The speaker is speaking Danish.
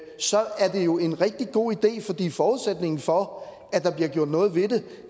så er det jo en rigtig god idé fordi forudsætningen for at der bliver gjort noget ved